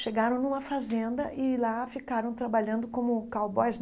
Chegaram numa fazenda e lá ficaram trabalhando como cowboys.